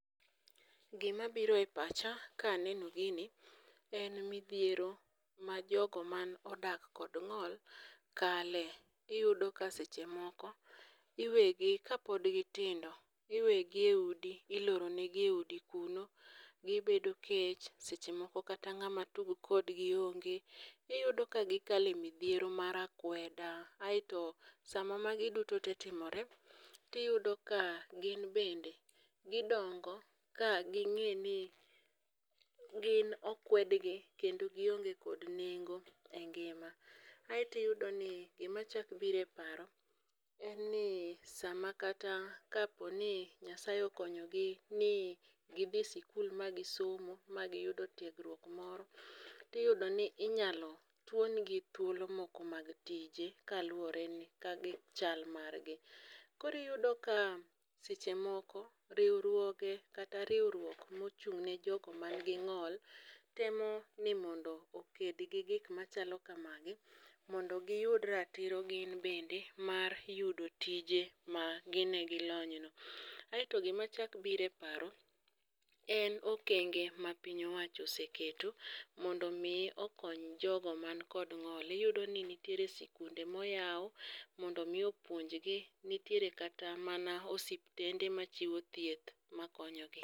Gima biro e pacha ka aneno gini en midhiero ma jogo ma odak kod ng'ol kale. Iyudo ka seche moko iwegi kapod gitindo, iwegi e udi iloro negi e udi kuro, gibedo kech. Seche moko kata ng'ama tugo kodgi onge, iyudo ka gikale midhiero mar akweda. Aeto sama magi duto te timore, tiyudo ka gin bende gidongo ka ging'e ni gin okwedgi kendo gionge kod nengo e ngima. Aeti yudo ni gima chak bire paro, en ni sama kata kaponi Nyasaye okonyogi ni gidhi e sikul ma gisomo ma giyudo tiegruok moro. Tiyudo ni inyalo tuon gi thuolo moko mag tije kaluwore ni gi chal mar gi. Koriyudo ka seche moko riwruoge, kata riwruok mochung' ne jogo man gi ng'ol temo ni mondo oked gi gikma chalo kamagi, mondo giyud ratiro gin bende mar yudo tije ma gine gi lony no. Aeto gim chak bire paro, en okenge ma piny owacho oseketo mondo okony jogo mani kod ng'ol. Iyudo ni nitiere sikunde moyaw mondo mi opuonjgi, nitiere kata mana osiptende machiwo thieth makonyogi.